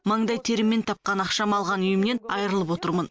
маңдай теріммен тапқан ақшама алған үйімнен айырылып отырмын